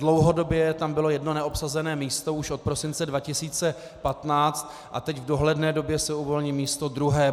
Dlouhodobě tam bylo jedno neobsazené místo už od prosince 2015 a teď v dohledné době se uvolní místo druhé.